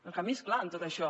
el camí és clar en tot això